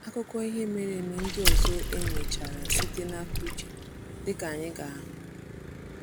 Akụkọ ihe mere eme ndị ọzọ e mechara site n’aka Uche, dịka anyị ga-ahụ.